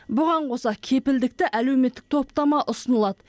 бұған қоса кепілдікті әлеуметтік топтама ұсынылады